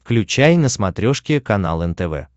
включай на смотрешке канал нтв